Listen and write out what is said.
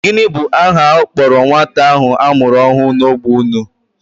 Gịnị bụ aha a kpọrọ nwata ahụ a mụrụ ọhụụ n'ógbè unu?